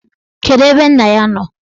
Kedụ ebe nna ya nọ?